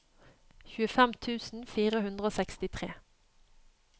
tjuefem tusen fire hundre og sekstitre